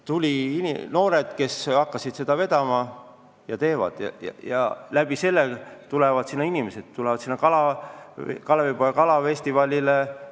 Tulid noored, kes hakkasid seda vedama ja nüüd tulevad inimesed sinna näiteks ka Kalevipoja kalafestivalile.